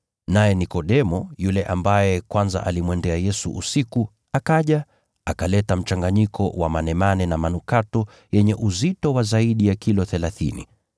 Naye Nikodemo, yule ambaye kwanza alimwendea Yesu usiku, akaja, akaleta mchanganyiko wa manemane na manukato, yenye uzito wa zaidi ya kilo thelathini